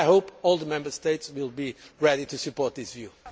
I hope all the Member States will be ready to support this view.